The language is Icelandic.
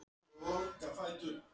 Hvers vegna byrjaði hún að forrita?